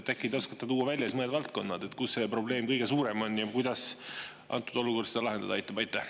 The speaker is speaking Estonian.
Äkki te oskate tuua välja mõned valdkonnad, kus see probleem kõige suurem on ja kuidas antud olukord seda lahendada aitab?